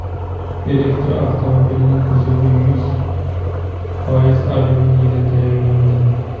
Elektromobilning kuzovi yuz foiz alyuminiydan tayyorlandi.